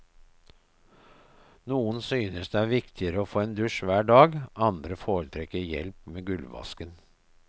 Noen synes det er viktigere å få en dusj hver dag, andre foretrekker hjelp med gulvvasken.